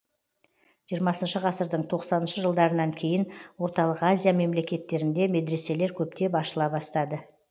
жиырмасыншы ғасырдың тоқсаныншы жылдарынан кейін орталық азия мемлекеттерінде медреселер көптеп ашыла бастады